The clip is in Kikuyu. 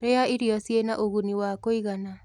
rĩa irio ciĩna ũguni wa kuigana